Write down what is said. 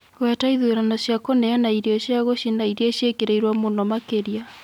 Gweta ĩthũrano cĩa kũneana ĩrĩo cĩa gĩchĩna ĩrĩa cĩĩkĩrĩĩrwo mũno makĩrĩa